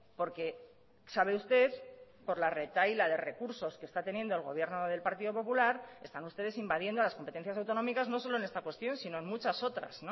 porque sabe usted por la retahíla de recursos que está teniendo el gobierno del partido popular están ustedes invadiendo las competencias autonómicas no solo en esta cuestión sino en muchas otras